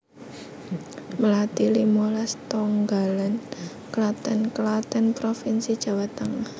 Melati limolas Tonggalan Klaten Klaten provinsi Jawa Tengah